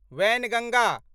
Wainganga